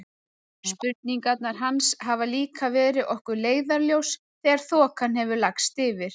Spurningarnar hans hafa líka verið okkur leiðarljós þegar þokan hefur lagst yfir.